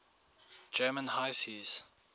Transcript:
german high seas